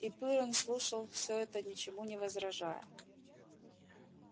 и пиренн слушал всё это ничему не возражая